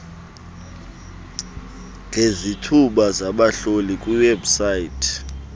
ngezithuba zabahlohli kwiwebsite